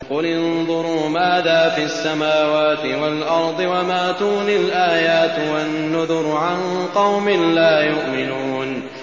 قُلِ انظُرُوا مَاذَا فِي السَّمَاوَاتِ وَالْأَرْضِ ۚ وَمَا تُغْنِي الْآيَاتُ وَالنُّذُرُ عَن قَوْمٍ لَّا يُؤْمِنُونَ